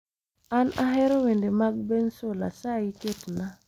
An ahero wende mag bensoul asayi ketnaa